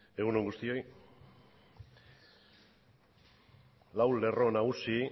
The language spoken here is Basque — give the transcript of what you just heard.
egun on guztioi lau lerro nagusi